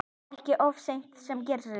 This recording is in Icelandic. Ekki oft sem það gerist.